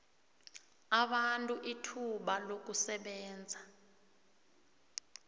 abantu ithuba lokusebenzisa